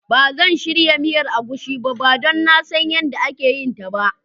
Ban zan shirya miyan agushi ba don nan San yanda ake yin ta ba.